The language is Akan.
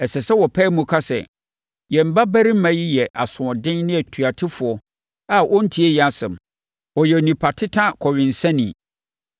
Ɛsɛ sɛ wɔpae mu ka sɛ, “Yɛn babarima yi yɛ asoɔden ne otuatefoɔ a ɔntie yɛn asɛm. Ɔyɛ onipa teta kɔwensani.”